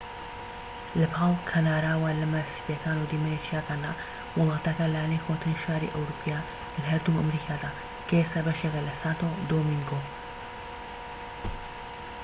لەپاڵ کەناراوە لمە سپیەکان و دیمەنی چیاکاندا وڵاتەکە لانەی کۆنترین شاری ئەوروپیە لە هەردوو ئەمریکادا کە ئێستا بەشێکە لە سانتۆ دۆمینگۆ